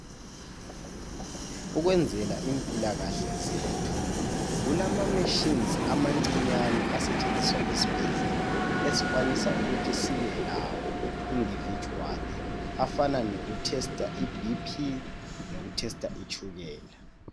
ukwenzela impilakahle zethu kulama machines amancinyane asetshenziswa esibhedlela esikwanisa ukuthi sibe lawo individually afana loku tester i BP loku tester itshukela